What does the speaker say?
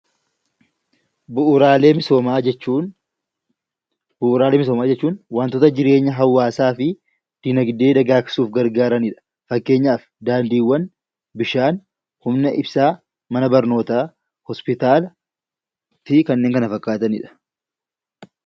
Bu'uuraalee misoomaa jechuun wantoota jireenya hawaasaa fi dinagdee dagaagsuuf gargaaranidha. Fakkeenyaaf daandiiwwan , bishaan , humna ibsaa, mana barnootaa, hospitaalaa fi kanneen kana fakkaatanidha.